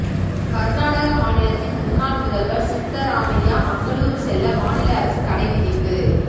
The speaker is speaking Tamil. கர்நாடக மாநிலத்தின் முன்னாள் முதலவர் சித்தராமையா மங்களூரு செல்ல மாநில அரசு தடை விதிப்பு